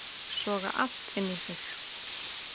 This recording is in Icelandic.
Soga allt inn í sig